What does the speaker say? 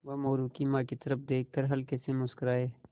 वह मोरू की माँ की तरफ़ देख कर हल्के से मुस्कराये